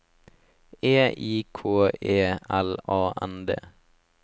E I K E L A N D